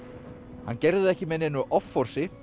hann gerði það ekki með neinu offorsi